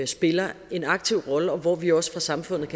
spiller en aktiv rolle og hvor vi også fra samfundets